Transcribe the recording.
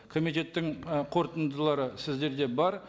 комитеттің ы қорытындылары сіздерде бар